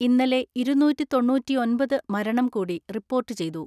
ഇന്നലെ ഇരുന്നൂറ്റിതൊണ്ണൂറ്റിഒന്‍പത് മരണം കൂടി റിപ്പോർട്ടു ചെയ്തു.